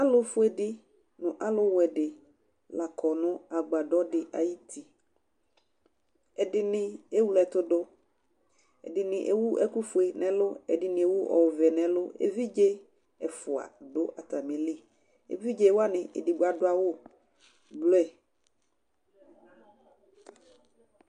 alofue di no alowɛ di la kɔ no agbadɔ di ayiti ɛdini ewle ɛto do ɛdini ewu ɛkò fue n'ɛlu ɛdini ewu ɔvɛ n'ɛlu evidze ɛfua do atami li evidze wani edigbo ado awu blu